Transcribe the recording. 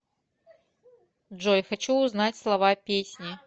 джой хочу узнать слова песни